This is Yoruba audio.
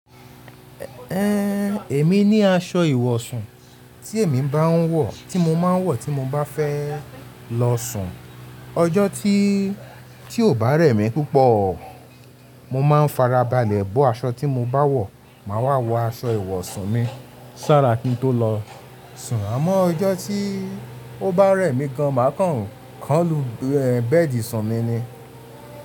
Ehn, èmi ní aṣọ ìwọ̀sàn tí èmi máa ń wọ̀ tí mo máa ń wọ̀ tí mo bá fẹ́ lọ sùn. Ọjọ́ tí, tí ó bá rẹ̀ mí púpọ̀, mo máa ń farabalẹ̀ bọ́ aṣọ tí mo bá wọ̀, màá wọ aṣọ ìwọ̀sun mi sára kí n tó lọ sùn. Àmọ́ ọjọ́ tí ó bá rẹ̀ mí gan, màá kàn án lu bẹ́ẹ̀dì ìsùn mi ni.